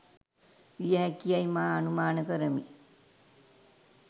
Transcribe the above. විය හැකි යැයි මා අනුමාන කරමි.